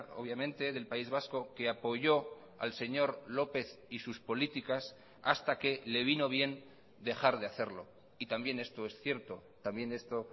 obviamente del país vasco que apoyó al señor lópez y sus políticas hasta que le vino bien dejar de hacerlo y también esto es cierto también esto